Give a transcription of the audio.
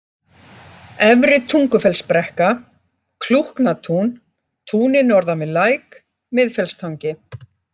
Efri-Tungufellsbrekka, Klúknatún, Túnið norðan við læk, Miðfellstangi